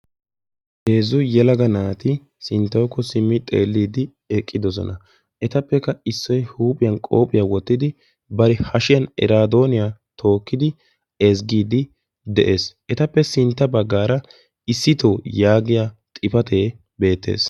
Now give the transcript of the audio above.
Heezzu yelaga naati sinttawu simmi xeelliddi ettappe issoy huuphiyan qobbyoa wottiddi eraadonniya ezggees.